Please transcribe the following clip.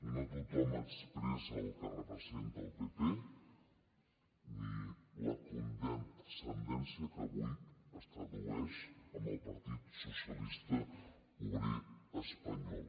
no tothom expressa el que representa el pp ni la condescendència que avui es tradueix en el partit socialista obrer espanyol